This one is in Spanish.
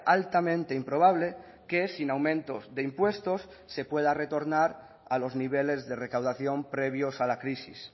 altamente improbable que sin aumentos de impuestos se pueda retornar a los niveles de recaudación previos a la crisis